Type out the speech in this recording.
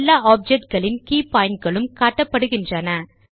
எல்லா ஆப்ஜெக்ட் களின் கே pointகளும் காணப்படுகின்றன